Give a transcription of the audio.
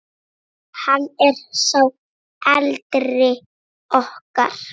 Hann er sá eldri okkar.